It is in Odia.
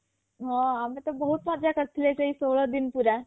ହଁ ଆମେ ତ ବହୁତ ମଜା କରିଥିଲେ ସେଇ ଷୋଳଦିନ ପୁରା